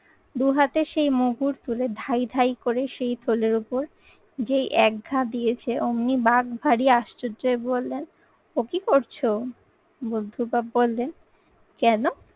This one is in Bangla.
দু হাতে সেই মুগুর তুলে ধাই ধাই করে সেই থলের উপর যেই এক ঘা দিয়েছে অমনি বাঘ ভারী আশ্চর্যের বলে ও কি করছো? বুদ্ধু বাপ বললে কেন?